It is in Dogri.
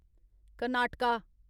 कर्नाटका